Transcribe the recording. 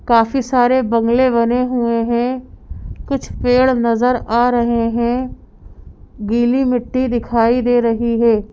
काफी सारे बंगले बने हुए हैं कुछ पेड़ नजर आ रहे हैं गीली मिट्टी दिखाई दे रही है।